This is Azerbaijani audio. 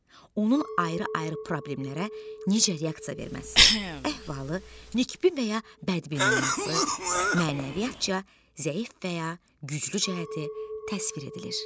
Onun ayrı-ayrı problemlərə necə reaksiya verməsi, əhvalı, nikbi və ya bədbin olması, mənəviyyatca zəif və ya güclü cəhəti təsvir edilir.